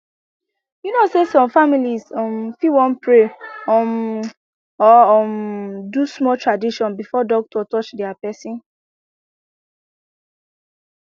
you know say some families um fit wan pray um or um do small tradition before doctor touch their person